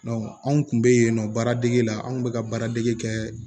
anw kun be yen nɔ baaradege la anw kun be ka baaradege kɛ